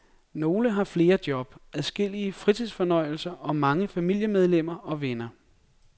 Nogle har flere job, adskillige fritidsfornøjelser og mange familiemedlemmer og venner.